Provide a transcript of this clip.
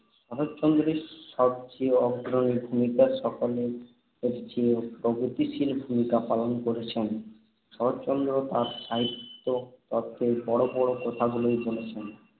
শরৎচন্দ্রই সবচেয়ে অগ্রণী ভূমিকা, সকলের চেয়ে প্রগতিশীল ভূমিকা পালন করেছেন। শরৎচন্দ্র তাঁর সাহিত্যে তত্ত্বের বড় বড় কথাগুলোই বলেছেন।